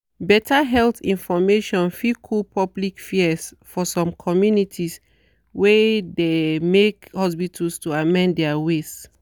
better health information fit cool public fears for some communities wey de make hospitals to amend their ways.